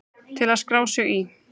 Til að skrá sig í